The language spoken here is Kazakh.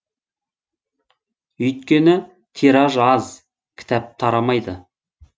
өйткені тираж аз кітап тарамайды